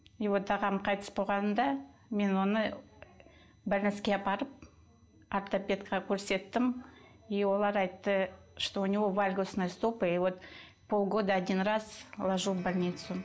и вот ағам қайтыс болғанда мен оны апарып ортопедке көрсеттім и олар айтты что у него вальгосные стопы и вот полгода один раз ложу в больницу